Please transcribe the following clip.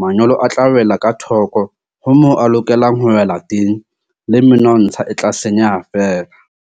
manyolo a tla wela ka thoko ho moo a lokelang ho wela teng, le menontsha e tla senyeha feela.